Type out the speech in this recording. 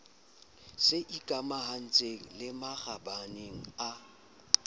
se ikamahantseng le makgabane a